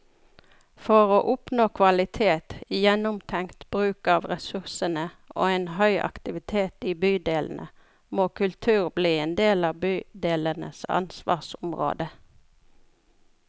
For å oppnå kvalitet, gjennomtenkt bruk av ressursene og en høy aktivitet i bydelene, må kultur bli en del av bydelenes ansvarsområde.